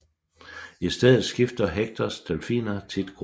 I stedet skifter Hectors delfiner tit gruppe